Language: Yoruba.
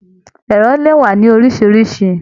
Ẹrọ lè wà ní oríṣiríṣi.